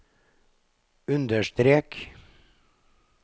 understrek